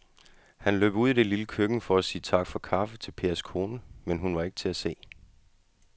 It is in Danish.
Han løb ud i det lille køkken for at sige tak for kaffe til Pers kone, men hun var ikke til at se.